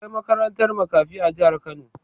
Akwai makarantar makafi a jihar Kano.